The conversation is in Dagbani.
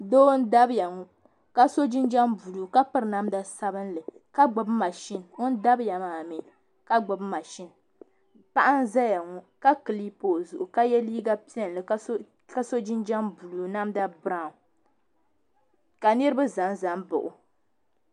Doo n dabya ŋɔ ka so jinjam buluu ka piri namda sabinli ka gbubi mashini o dabiya maa mi ka gbubi mashini paɣa n zaya ŋɔ ka kilipi o zuɣu ka yɛ liiga piɛlli ka so jinjam buluu namda birawu ka niriba za za n baɣi o.